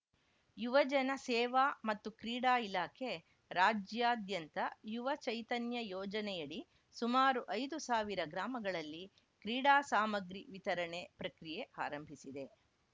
ಯುವಜನ ಸೇವಾ ಮತ್ತು ಕ್ರೀಡಾ ಇಲಾಖೆ ರಾಜ್ಯಾದ್ಯಂತ ಯುವ ಚೈತನ್ಯ ಯೋಜನೆಯಡಿ ಸುಮಾರು ಐದು ಸಾವಿರ ಗ್ರಾಮಗಳಲ್ಲಿ ಕ್ರೀಡಾ ಸಾಮಗ್ರಿ ವಿತರಣೆ ಪ್ರಕ್ರಿಯೆ ಆರಂಭಿಸಿದೆ